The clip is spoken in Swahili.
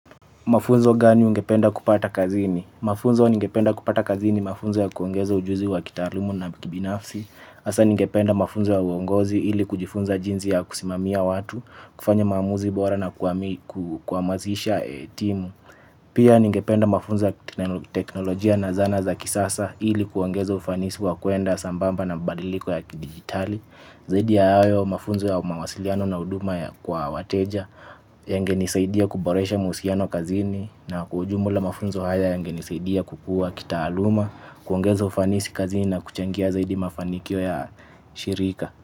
Mafunzo gani ungependa kupata kazini? Mafunzo ningependa kupata kazini mafunzo ya kuongeza ujuzi wa kitaalamu na kibinafsi. HASAA ningependa mafunzo ya uongozi ili kujifunza jinzi ya kusimamia watu, kufanya maamuzi bora na kuamazisha timu. Pia ningependa mafunzo ya teknolojia na zana za kisasa ili kuongeza ufanisi wa kuenda sambamba na badiliko ya digitali. Zaidi ya hayo mafunzo ya mawasiliano na uduma kwa wateja yangenisaidia kuboresha mausiano kazini. Na kwa ujumula mafunzo haya yangenisaidia kukua kitaaluma. Kuongeza ufanisi kazini na kuchangia zaidi mafanikio ya shirika.